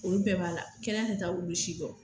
Olu bɛɛ b'a la kɛnɛya tɛ taa olu si kɔ